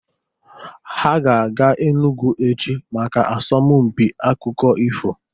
Ha ga-aga Enugwu echi maka asọmpi akụkọ ifo.